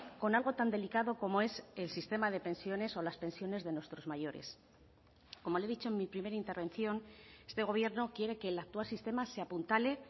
con algo tan delicado como es el sistema de pensiones o las pensiones de nuestros mayores como le he dicho en mi primera intervención este gobierno quiere que el actual sistema se apuntale